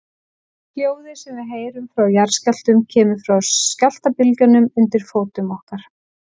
Hljóðið sem við heyrum frá jarðskjálftum kemur frá skjálftabylgjunum undir fótum okkar.